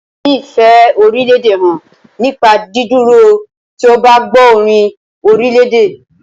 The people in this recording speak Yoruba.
A lè fi ìfẹ́ orílédè hàn nípa dídúró tí o bá gbọ́ orin orílèdè.